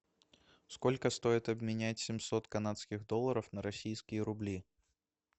сколько стоит обменять семьсот канадских долларов на российские рубли